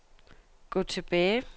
gå tilbage